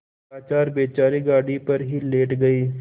लाचार बेचारे गाड़ी पर ही लेट गये